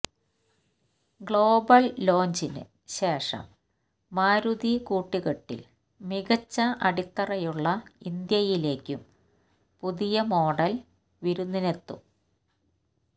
global ലോഞ്ചിന് ശേഷം മാരുതി കൂട്ടുകെട്ടില് മികച്ച അടിത്തറയുള്ള ഇന്ത്യയിലേക്കും പുതിയ മോഡല് വിരുന്നിനെത്തും